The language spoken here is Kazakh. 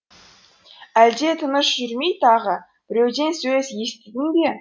әлде тыныш жүрмей тағы біреуден сөз естідің бе